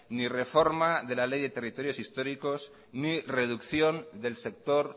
ni reforma de la ley de territorios históricos ni reducción del sector